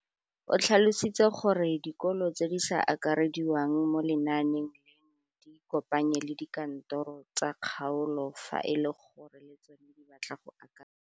O tlhalositse gore dikolo tse di sa akarediwang mo lenaaneng leno di ikopanye le dikantoro tsa kgaolo fa e le gore le tsona di batla go akarediwa.